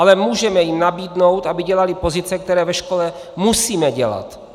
Ale můžeme jim nabídnout, aby dělali pozice, které ve škole musíme dělat.